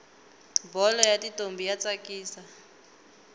bholo yatintombi yatsakisa